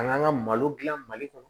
Ka n'an ka malo dilan mali kɔnɔ